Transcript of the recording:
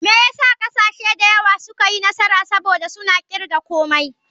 Me yasa kasashe da yawa suka yi nasara, saboda suna kirga komai.